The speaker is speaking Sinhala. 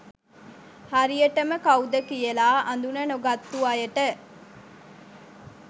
හරියටම කවුද කියලා අඳුන නොගත්තු අයට